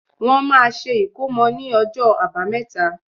Wọ́n máa ṣe ìkómò ní ọjọ́ àbámẹ́ta